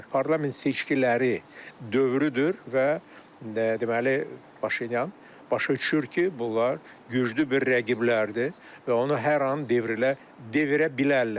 Parlament seçkiləri dövrüdür və deməli, Paşinyan başa düşür ki, bunlar güclü bir rəqiblərdir və onu hər an devrilə, devirə bilərlər.